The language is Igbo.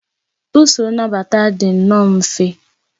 Usoro nnabata dị nnọọ mfe